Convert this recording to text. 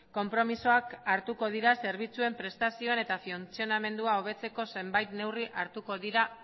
konpromisoak hartuko dira zerbitzuen prestazioen eta funtzionamendua hobetzeko zenbait neurri hartuko dira